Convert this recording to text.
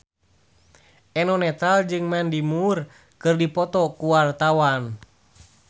Eno Netral jeung Mandy Moore keur dipoto ku wartawan